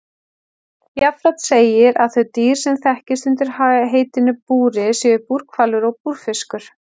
Jafnframt segir að þau dýr sem þekkist undir heitinu búri séu búrhvalur og búrfiskur.